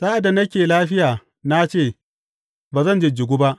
Sa’ad da nake lafiya, na ce, Ba zan jijjigu ba.